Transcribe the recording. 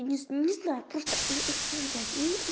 не не знаю просто блядь